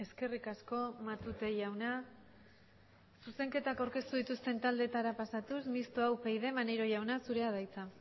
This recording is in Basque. eskerrik asko matute jauna zuzenketak aurkeztu dituzten taldeetara pasatuz mistoa upyd maneiro jauna zurea da hitza